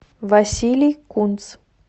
василий кунц